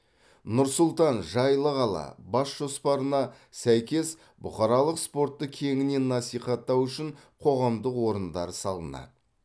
нұр сұлтан жайлы қала бас жоспарына сәйкес бұқаралық спортты кеңінен насихаттау үшін қоғамдық орындар салынады